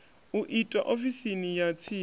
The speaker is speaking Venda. u itwa ofisini ya tsini